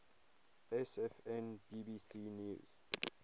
sfn bbc news